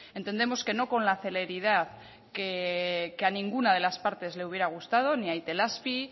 entendemos que no con la celeridad que a ninguna de las partes le hubiera gustado ni a itelazpi